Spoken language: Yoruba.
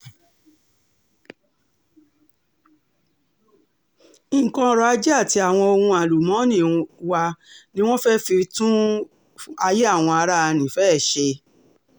nǹkan ọrọ̀ ajé àti àwọn ohun àlùmọ́ọ́nì wa ni wọ́n fẹ́ẹ́ fi tún ayé àwọn ará nífẹ̀ẹ́ ṣe